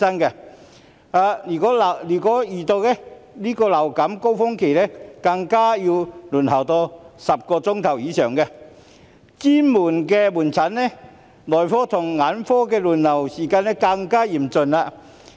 如果遇到流感高峰期，更要輪候10小時以上，而專科門診、內科及眼科診症的輪候時間，更為嚴峻。